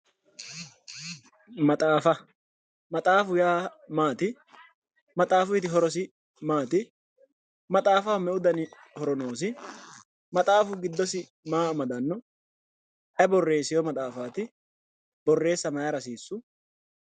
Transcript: Maxaafa maxaafu yaa maati maxafuyiti horosi maati maxaafaho me"u dani horo noosi maxaafu giddosi maa amdanno ayi borresewo maxafaati boreessa mayira hasiissu